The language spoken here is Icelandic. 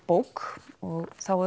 bók og þá